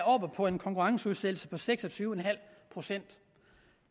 oppe på en konkurrenceudsættelse på seks og tyve procent